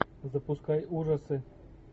запускай ужасы